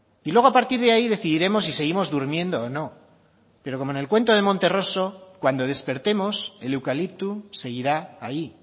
y luego a partir de ahí decidiremos si seguimos durmiendo o no pero como en el cuento de monterroso cuando despertemos el eucalipto seguirá ahí